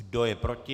Kdo je proti?